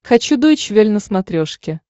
хочу дойч вель на смотрешке